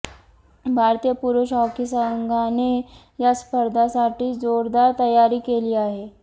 भारतीय पुरूष हॉकी संघाने या स्पर्धेसाठी जोरदार तयारी केली आहे